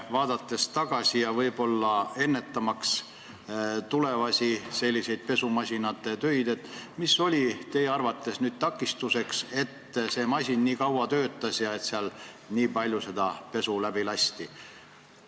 Vaadates tagasi ja võib-olla selleks, et ennetada tulevasi selliseid pesumasinatöid, kas te ütlete, mis oli teie arvates takistuseks, et see masin nii kaua töötas ja sealt nii palju seda pesu läbi käis?